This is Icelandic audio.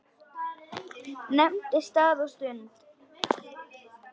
Nefndi stað og stund.